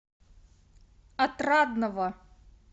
отрадного